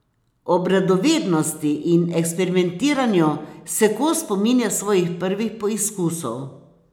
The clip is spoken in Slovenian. Ob radovednosti in eksperimentiranju se Kos spominja svojih prvih poizkusov.